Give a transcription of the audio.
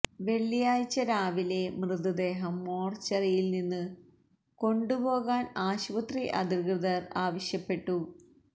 വെള്ളിയാഴ്ച രാവിലെ മൃതദേഹം മോര്ച്ചറിയില് നിന്ന് കൊണ്ടുപോകാന് ആശുപത്രി അധികൃതര് ആവശ്യപ്പെട്ടു